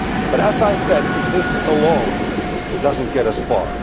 But as I said, this alone does not get us far.